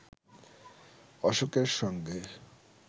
অশোকের সঙ্গে